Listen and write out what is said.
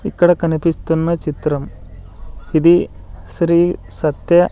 ఇక్కడ కనిపిస్తున్న చిత్రం ఇది శ్రీ సత్య--